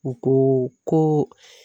U ko ko